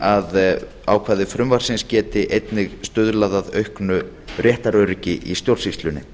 að ákvæði frumvarpsins geti einnig stuðlað að auknu réttaröryggi í stjórnsýslunni